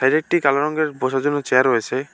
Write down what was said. একটি কালো রঙের বসার জন্য চেয়ার রয়েছে।